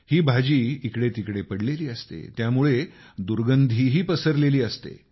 ही भाजी इकडेतिकडे पडलेली असते त्यामुळे दुर्गंधीही पसरलेली असते